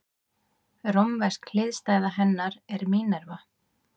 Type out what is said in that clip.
Rómversk hliðstæða hennar er Mínerva.